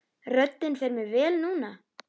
Röddin fer mér vel núna.